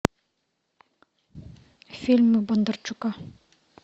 фильмы бондарчука